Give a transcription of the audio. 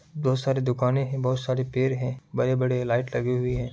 बहुत सारे दुकाने है बहुत सारे पेड़ है बड़े-बड़े लाइट लगी हुई है।